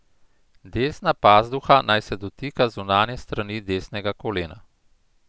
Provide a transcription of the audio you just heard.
Desna pazduha naj se dotika zunanje strani desnega kolena.